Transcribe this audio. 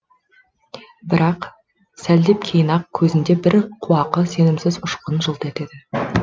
бірақ сәлдеп кейін ақ көзінде бір қуақы сенімсіз ұшқын жылт етеді